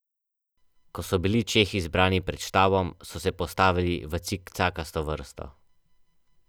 Takrat so se videnja vsakodnevno dogajala šestim vidcem.